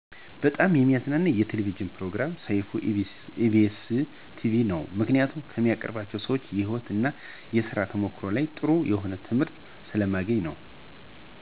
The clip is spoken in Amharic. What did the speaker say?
በጣም የሚያዝናናኝ የቴሌቪዥን ፕሮግራም ሰይፉ በኢቢኤስ ቴሌቪዥን ነው. ምክንያቱም ከሚያቀርባቸው ሰዎች የህይወት እና የስራ ተሞክሯቸው ላይ ጥሩ የሆነ ትምህርት ስለማገኝበት ነው.